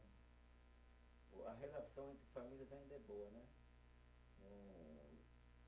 A relação entre famílias ainda é boa, né?